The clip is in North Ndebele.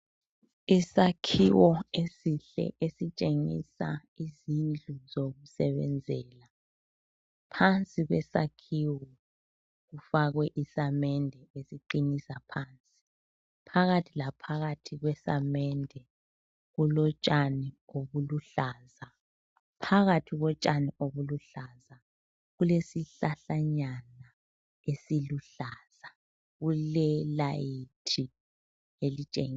Isakhiwo esihle esitshengisa izindlu zokusebenzela. Phansi kwesakhiwo kufakwe isamende esiqinisa phansi. Phakathi laphakathi kwesamende kulotshani obuluhlaza. Phakathi kotshani obuluhlaza kulesihlahlanyana esiluhlaza. Kulelayithi elitshengisa